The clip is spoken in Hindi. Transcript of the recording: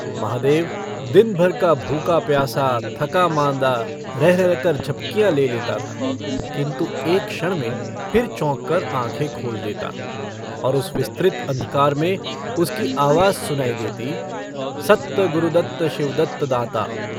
महादेव दिन-भर का भूखा-प्यासा थका माँदा रह-रहक-र झपकियाँ ले लेता था किन्तु एक क्षण में फिर चौंककर आँखें खोल देता और उस विस्तृत अंधकार में उसकी आवाज सुनाई देती - सत्त गुरुदत्त शिवदत्त दाता।